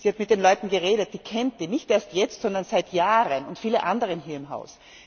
Sie hat mit den Leuten geredet, sie kennt sie, nicht erst jetzt, sondern seit Jahren, und viele andere hier im Haus.